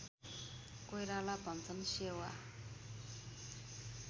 कोइराला भन्छन् सेवा